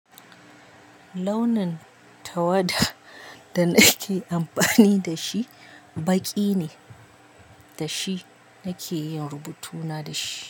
Launin tawada da nake amfani da shi baƙi ne, da shi nake yin rubutuna da shi.